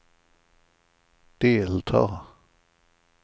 delta